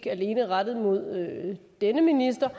alene rettet mod denne minister